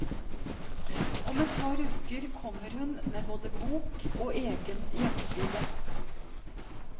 Om et par uker kommer hun med både bok og egen hjemmeside.